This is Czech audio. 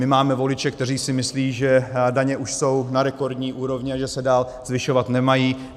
My máme voliče, kteří si myslí, že daně už jsou na rekordní úrovni a že se dál zvyšovat nemají.